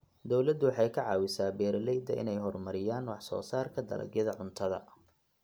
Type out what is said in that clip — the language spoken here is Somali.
Dawladdu waxay ka caawisaa beeralayda inay horumariyaan wax soo saarka dalagyada cuntada.